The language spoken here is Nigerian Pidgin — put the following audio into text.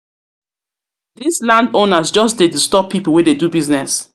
these landowners just dey disturb people wey dey do business.